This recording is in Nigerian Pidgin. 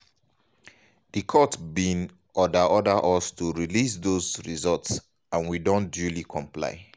di court bin order order us to release dose results and we don duly comply.